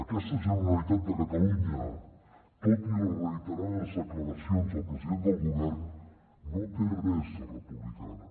aquesta generalitat de catalunya tot i les reiterades declaracions del president del govern no té res de republicana